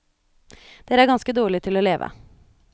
Dere er ganske dårlige til å leve.